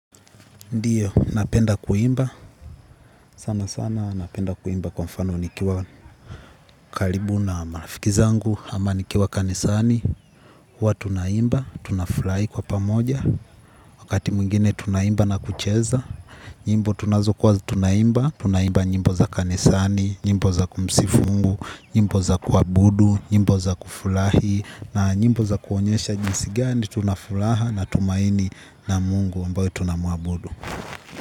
Ndiyo, napenda kuimba, sana sana napenda kuimba kwa mfano nikiwa karibu na marafiki zangu, ama nikiwa kanisani, huwa tunaimba, tunafurahi kwa pamoja, wakati mwingine tunaimba na kucheza, nyimbo tunazokuwa tunaimba, tunaimba nyimbo za kanisani, nyimbo za kumsifu mungu, nyimbo za kuabudu, njimbo za kufurahi, na nyimbo za kuonyesha jinsi gani, tunafuraha na tumaini na mungu ambaye tunamuabudu.